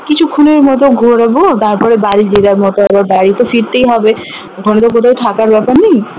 কিছুক্ষনের মত ঘুরবো তারপরে বাড়ি যে যার মত এবার বাড়ি তো ফিরতেই হবে ওখানে তো কোথাও থাকার ব্যাপার নেই